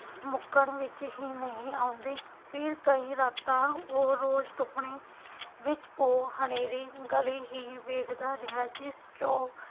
ਕਿ ਮੁੱਕਣ ਵਿਚ ਹੀ ਨਹੀਂ ਆਉਂਦੀ ਫਿਰ ਕਈ ਰਾਤਾਂ ਉਹ ਰੋਜ਼ ਸੁਪਨੇ ਵਿਚ ਉਹ ਹਨੇਰੀ ਗਲੀ ਵਹੀਂ ਵੇਖਦਾ ਰਿਹਾ ਜਿਸ ਚ ਉਹ